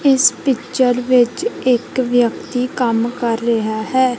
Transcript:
ਇਸ ਪਿੱਚਰ ਵਿੱਚ ਇੱਕ ਵਿਅਕਤੀ ਕੰਮ ਕਰ ਰਿਹਾ ਹੈ।